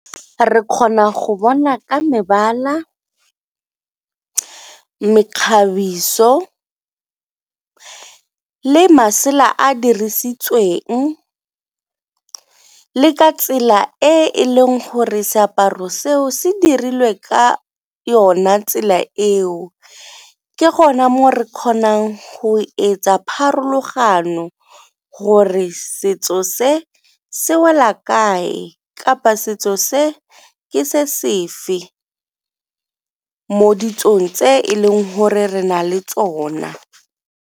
Re kgona go bona ka mebala, mekgabiso, le masela a dirisitsweng, le ka tsela e e leng gore seaparo seo se dirilwe ka yona tsela eo. Ke gona mo re kgonang go etsa pharologano gore setso se, se wela kae kapa setso se ke se sefe mo ditsong tse e leng gore re na le tsona.